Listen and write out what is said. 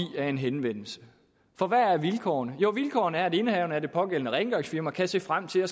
af en henvendelse for hvad er vilkårene jo vilkårene er at indehaveren af det pågældende rengøringsfirma kan se frem til at